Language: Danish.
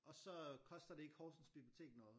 Og så øh koster det ikke Horsens bibliotek noget